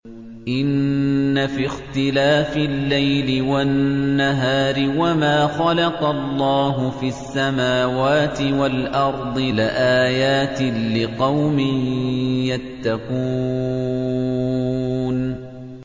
إِنَّ فِي اخْتِلَافِ اللَّيْلِ وَالنَّهَارِ وَمَا خَلَقَ اللَّهُ فِي السَّمَاوَاتِ وَالْأَرْضِ لَآيَاتٍ لِّقَوْمٍ يَتَّقُونَ